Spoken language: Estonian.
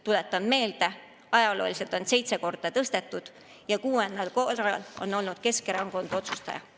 Tuletan meelde: ajalooliselt on pensione seitse korda tõstetud ja kuuel korral on olnud Keskerakond selle otsustaja.